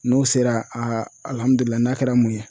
N'o sera a n'a kɛra mun ye